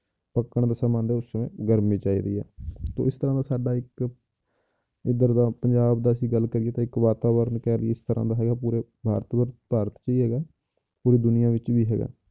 ਪੱਕਣ ਦਾ ਸਮਾਂ ਆਉਂਦਾ ਹੈ ਉਸ ਸਮੇਂ ਗਰਮੀ ਚਾਹੀਦੀ ਹੈ ਤੇ ਇਸ ਤਰ੍ਹਾਂ ਦਾ ਸਾਡਾ ਇੱਕ ਇੱਧਰ ਦਾ ਪੰਜਾਬ ਦਾ ਅਸੀਂ ਗੱਲ ਕਰੀਏ ਤਾਂ ਇੱਕ ਵਾਤਾਵਰਨ ਕਹਿ ਲਈਏ ਇਸ ਤਰ੍ਹਾਂ ਦਾ ਹੈਗਾ ਪੂਰੇ ਭਾਰਤ 'ਚ ਭਾਰਤ 'ਚ ਹੀ ਹੈਗਾ ਪੂਰੀ ਦੁਨੀਆਂ ਵਿੱਚ ਵੀ ਹੈਗਾ